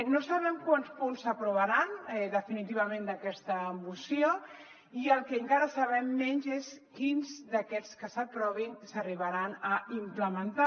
no sabem quants punts s’aprovaran definitivament d’aquesta moció i el que encara sabem menys és quins d’aquests que s’aprovin s’arribaran a implementar